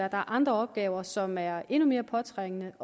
andre opgaver som det er endnu mere påtrængende